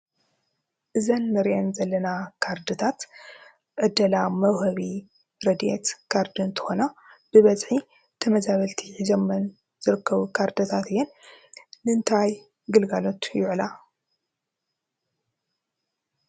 እዘን ንሪአን ዘለና ካርድታት ዕደላ መውሀቢ ረዲኤት ካርዲ እንትኮና ብበዝሒ ተመዛበልቲ ሒዘሞን ዝርከቡ ካርድታት እየን። ንምንታይ ግልጋሎት ይውዕላ?